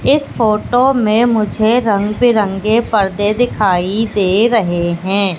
इस फोटो में मुझे रंग बिरंगे पर्दे दिखाई दे रहे हैं।